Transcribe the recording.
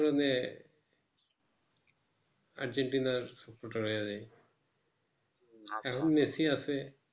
সেই কারণে আর্জেন্টিনার ফুটবল হয়ে যাই এখন মেসি আছে